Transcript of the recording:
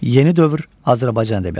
Yeni dövr Azərbaycan ədəbiyyatı.